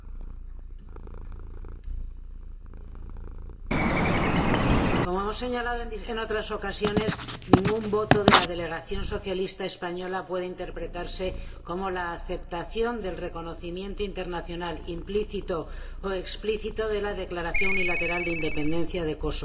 Señor Presidente, como hemos señalado en otras ocasiones, ningún voto de la delegación socialista española puede interpretarse como la aceptación del reconocimiento internacional, implícito o explícito, de la declaración unilateral de independencia de Kosovo.